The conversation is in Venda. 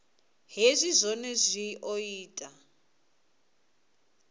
hezwi zwohe zwi o ita